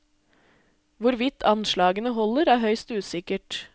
Hvorvidt anslagene holder, er høyst usikkert.